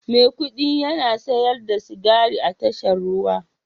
Maikudi yana siyar da sigari a tashar ruwa